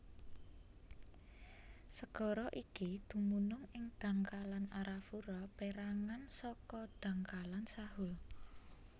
Segara iki dumunung ing dhangkalan Arafura pérangan saka dhangkalan Sahul